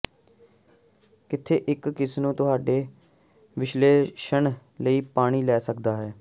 ਕਿੱਥੇ ਅਤੇ ਕਿਸ ਨੂੰ ਤੁਹਾਡੇ ਵਿਸ਼ਲੇਸ਼ਣ ਲਈ ਪਾਣੀ ਲੈ ਸਕਦਾ ਹੈ